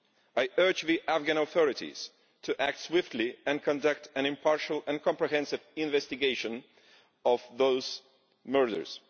I urge the Afghan authorities to act swiftly and conduct an impartial and comprehensive investigation into those murders.